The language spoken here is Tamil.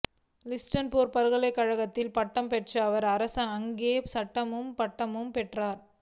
ஸ்டான்போர்டு பல்கலைக்கழகத்தில் பட்டம் பெற்ற அவர் அங்கேயே சட்டப் பட்டமும் பெற்றார்